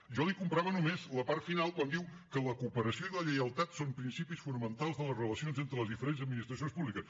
jo li comprava només la part final quan diu que la cooperació i la lleialtat són principis fonamentals de les relacions entre les diferents administracions públiques